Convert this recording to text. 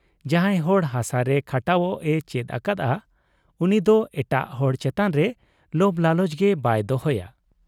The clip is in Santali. ᱡᱟᱦᱟᱸᱭ ᱦᱚᱲ ᱦᱟᱥᱟ ᱨᱮ ᱠᱷᱟᱴᱟᱣᱚᱜ ᱮ ᱪᱮᱫ ᱟᱠᱟᱫ ᱟ ᱩᱱᱤ ᱫᱚ ᱮᱴᱟᱜ ᱦᱚᱲ ᱪᱮᱛᱟᱱ ᱨᱮ ᱞᱚᱵᱽ ᱞᱟᱞᱚᱪ ᱜᱮ ᱵᱟᱭ ᱫᱚᱦᱚᱭᱟ ᱾